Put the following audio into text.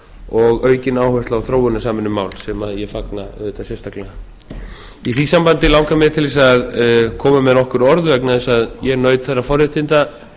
og aukin áhersla á þróunarsamvinnumál sem ég fagna auðvitað sérstaklega í því sambandi langar mig til þess að koma með nokkur orð vegna þess að ég naut þeirra forréttinda